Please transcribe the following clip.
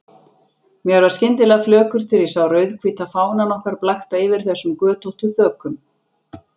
Mér varð skyndilega flökurt þegar ég sá rauðhvíta fánann okkar blakta yfir þessum götóttu þökum.